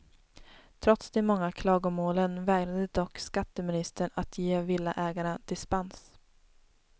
Trots de många klagomålen vägrade dock skatteministern att ge villaägarna dispens.